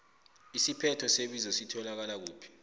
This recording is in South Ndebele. isiphetho sebizo sitholakala kuphi